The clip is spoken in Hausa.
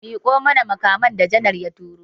Miƙo mana makaman da janar ya turo!